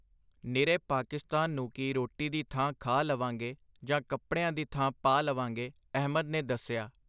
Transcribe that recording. ਨਿਰੇ ਪਾਕਿਸਤਾਨ ਨੂੰ ਕੀ ਰੋਟੀ ਦੀ ਥਾਂ ਖਾ ਲਵਾਂਗੇ ਜਾਂ ਕੱਪੜਿਆਂ ਦੀ ਥਾਂ ਪਾ ਲਵਾਂਗੇ! ਅਹਿਮਦ ਨੇ ਦੱਸਿਆ.